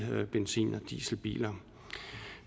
benzin og dieselbiler